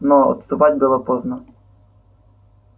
но отступать было поздно